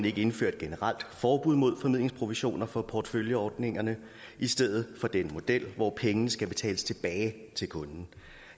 ikke indføre et generelt forbud mod formidlingsprovisioner for porteføljeordningerne i stedet for denne model hvor pengene skal betales tilbage til kunden